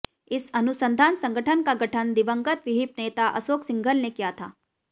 इस अनुसंधान संगठन का गठन दिवंगत विहिप नेता अशोक सिंघल ने किया था